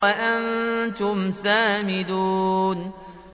وَأَنتُمْ سَامِدُونَ